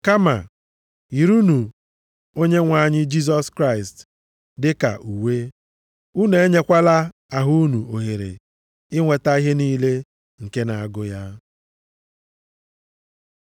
Kama yirinụ Onyenwe anyị Jisọs Kraịst dịka uwe. Unu enyekwala ahụ unu ohere inweta ihe niile nke na-agụ ya.